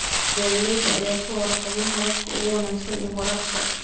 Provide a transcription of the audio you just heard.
Beeralayda ayaan ka warqabin hababka ugu wanaagsan ee waraabka.